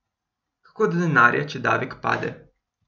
Kako do denarja, če davek pade?